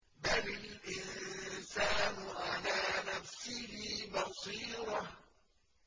بَلِ الْإِنسَانُ عَلَىٰ نَفْسِهِ بَصِيرَةٌ